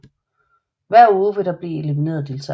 Hver uge vil der blive elimineret deltagere